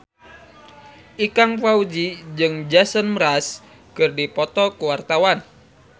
Ikang Fawzi jeung Jason Mraz keur dipoto ku wartawan